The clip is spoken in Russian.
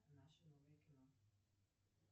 наше новое кино